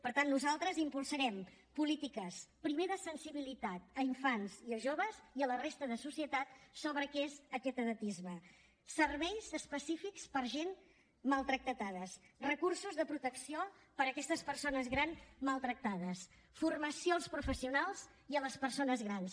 per tant nosaltres impulsarem polítiques primer de sensibilitat a infants i a joves i a la resta de la societat sobre què és aquest edatisme serveis específics per a gent maltractada recursos de protecció per a aquestes persones grans maltractades formació als professionals i a les persones grans